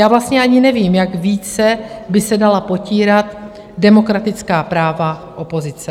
Já vlastně ani nevím, jak více by se dala potírat demokratická práva opozice.